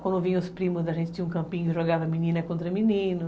Quando vinham os primos, a gente tinha um campinho e jogava menina contra menino.